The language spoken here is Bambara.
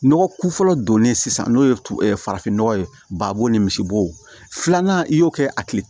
Nɔgɔ ku fɔlɔ donnen sisan n'o ye farafinnɔgɔ ye babo ni misibo filanan i y'o kɛ a tile